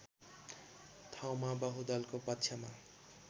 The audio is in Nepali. ठाउँमा बहुदलको पक्षमा